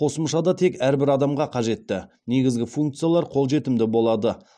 қосымшада тек әрбір адамға қажетті негізгі функциялар қолжетімді болады